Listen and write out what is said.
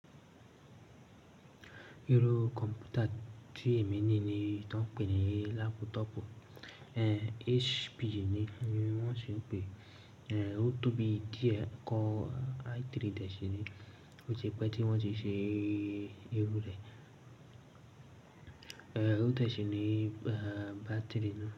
Irú kọ̀m̀pútà tí èmi ní ní, tí wọ́n ń pè ní lápútọ̀ọ̀pù, eh, HP ni wọ́n sì ń pè, eh, ó tóbi díẹ̀ kó i3 dẹ́sìnì, ó ṣe pé tí wọ́n ti ṣe irú rẹ̀. Eh, ó dẹ́sìnì, eh, bátìrì náà.